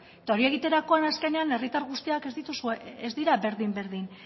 eta hori egiterakoan azkenean herritar guztiak ez dira berdin berdin